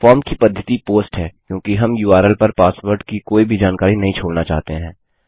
form की पद्धति post है क्योंकि हम उर्ल पर पासवर्ड की कोई भी जानकारी नहीं छोड़ना चाहते हैं